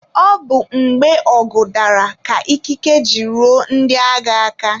Ọ bụ mgbe ọgụ dara ka ikike ji ruo ndị agha aka.